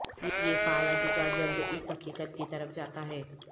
یہ فعال اجزاء جلد اس حقیقت کی طرف جاتا ہے